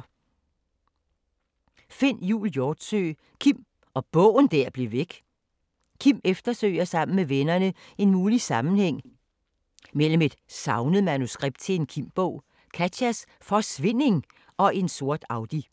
Hjortsøe, Finn Jul: Kim og bogen der blev væk Kim eftersøger sammen med vennerne en mulig sammenhæng mellem et savnet manuskript til en Kim-bog, Katjas forsvinding og en sort Audi.